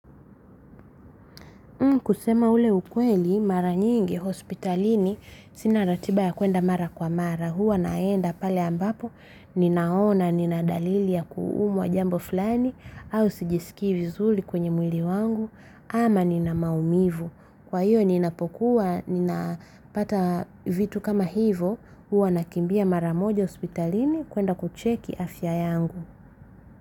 Kusema ule ukweli, mara nyingi, hospitalini, sina ratiba ya kuenda mara kwa mara. Huwa naenda pale ambapo, ninaona, nina dalili ya kuumwa jambo flani, au sijisikii vizuli kwenye mwili wangu, ama nina maumivu. Kwa hiyo, ninapokuwa, nina pata vitu kama hivo, huwa nakimbia mara moja hospitalini, kuenda kucheki afya yangu.